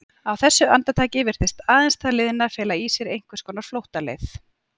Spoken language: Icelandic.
Á þessu andartaki virtist aðeins það liðna fela í sér einhvers konar flóttaleið.